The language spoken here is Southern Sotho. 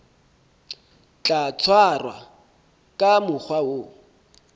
tla tshwarwa ka mokgwa o